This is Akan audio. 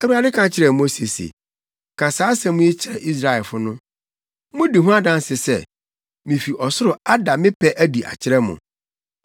Awurade ka kyerɛɛ Mose se, “Ka saa asɛm yi kyerɛ Israelfo no. ‘Mudi ho adanse sɛ, mifi ɔsoro ada me pɛ adi akyerɛ mo.